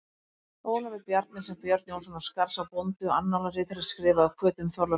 Ólafi Bjarnyl, sem Björn Jónsson á Skarðsá, bóndi og annálaritari, skrifaði af hvötum Þorláks biskups.